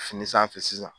Fini sanfɛ sisan